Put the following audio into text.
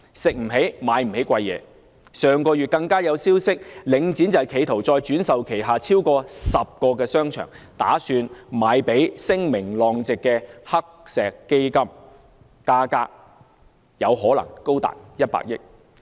上月更有消息傳出，領展企圖再轉售旗下超過10個商場，打算把它們賣給聲名狼藉的黑石基金，價格更可能高達100億元。